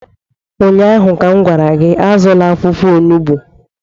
Ụnyahụ m gwara gị, azụla akwụkwọ onugbu!